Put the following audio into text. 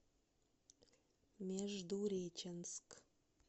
междуреченск